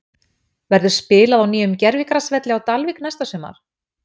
Verður spilað á nýjum gervigrasvelli á Dalvík næsta sumar?